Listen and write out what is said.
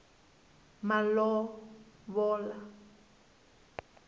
malovola